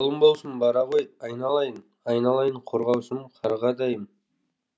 жолың болсын бара ғой айналайын айналайын қорғаушым қарғадайым